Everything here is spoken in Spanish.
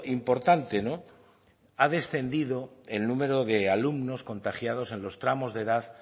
importante no ha descendido el número de alumnos contagiados en los tramos de edad